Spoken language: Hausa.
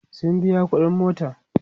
sun biya ƙuɗin motan